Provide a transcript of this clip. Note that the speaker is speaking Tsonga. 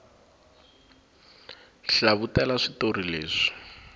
hlavutela switori leswi